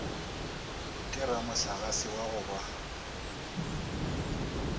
ke ramohlagase wa go ba